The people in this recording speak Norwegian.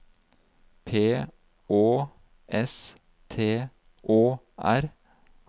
P Å S T Å R